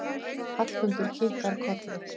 Hallmundur kinkar kolli.